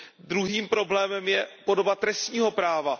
Druhým problémem je podoba trestního práva.